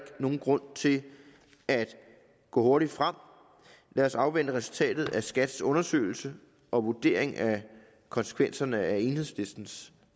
nogen grund til at gå hurtigt frem lad os afvente resultatet af skats undersøgelse og vurdering af konsekvenserne af enhedslistens